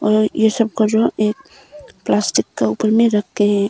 और ये सब का जो है एक प्लास्टिक का ऊपर में रख के हैं।